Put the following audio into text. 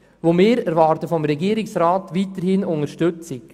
Wir erwarten vom Regierungsrat weiterhin Unterstützung.